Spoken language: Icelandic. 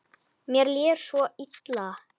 Mér líður svo illa.